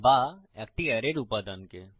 বা একটি অ্যারের উপাদানকে